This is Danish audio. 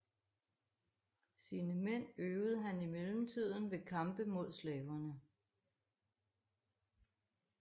Sine mænd øvede han i mellemtiden ved kampe mod slaverne